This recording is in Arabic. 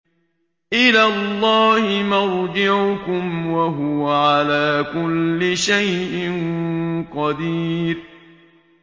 إِلَى اللَّهِ مَرْجِعُكُمْ ۖ وَهُوَ عَلَىٰ كُلِّ شَيْءٍ قَدِيرٌ